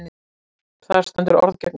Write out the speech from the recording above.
Þar stendur orð gegn orði.